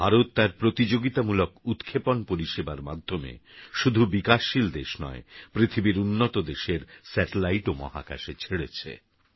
ভারততারপ্রতিযোগিতামূলকউৎক্ষেপণপরিষেবারমাধ্যমেশুধুবিকাশশীলদেশনয় পৃথিবীরউন্নতদেশেরsatelliteওমহাকাশেছেড়েছে